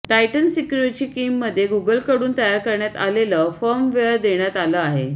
Titan सिक्युरिची कीमध्ये गुगलकडून तयार करण्यात आलेलं फर्मवेअर देण्यात आलं आहे